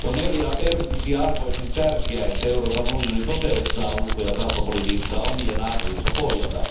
On ensiarvoisen tärkeää, että Euroopan unioni toteuttaa ulko ja kauppapolitiikkaa omien arvojensa pohjalta.